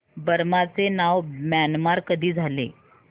Burma चे नाव Myanmar कधी झाले